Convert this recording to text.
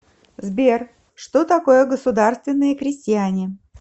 сбер что такое государственные крестьяне